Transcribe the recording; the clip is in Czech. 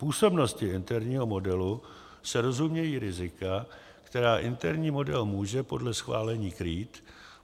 Působností interního modelu se rozumějí rizika, která interní model může podle schválení krýt.